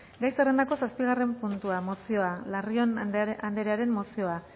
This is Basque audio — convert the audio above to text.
gai zerrendako zazpigarren puntua mozioa larrion anderearen mozioa